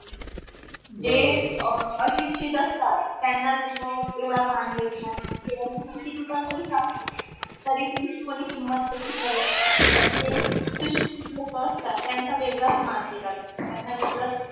अं अशिक्षित असतात त्यांना लोक येवडा मान देत नाही किवा मग किती पण पैसा असला तरी तुमची कोणी किमत येवडी करत नाही पण जे सुशिक्षितांना लोक असतात त्यांचा वेगडाच मान दिल जातो त्यांना वेगडच